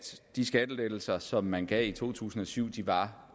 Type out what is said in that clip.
de skattelettelser som man gav i to tusind og syv var